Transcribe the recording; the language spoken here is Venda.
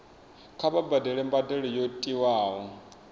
kha vha badele mbadelo yo tiwaho